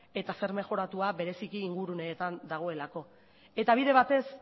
eta zer mejoratua bereziki inguruneetan dagoelako eta bide batez